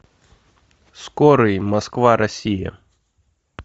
скорый москва россия